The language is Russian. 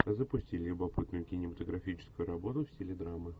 запусти любопытную кинематографическую работу в стиле драмы